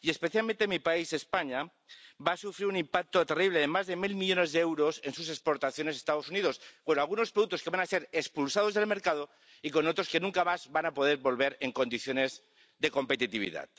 Y especialmente mi país, España, va a sufrir un impacto terrible de más de mil millones de euros en sus exportaciones a los Estados Unidos, con algunos productos que van a ser expulsados del mercado y con otros que nunca más van a poder volver en condiciones de competitividad.